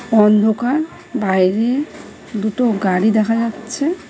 অন্ধকার বাইরে দুটো গাড়ি দেখা যাচ্ছে।